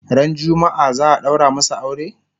Ran jumma'a za'a ɗaura masu aure?